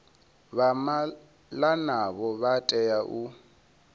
vha malanaho vha tea u